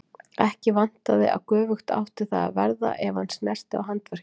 Ekki vantaði að göfugt átti það að verða ef hann snerti á handverki.